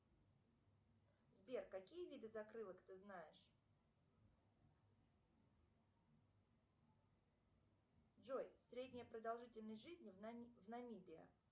сбер какие виды закрылок ты знаешь джой средняя продолжительность жизни в намибии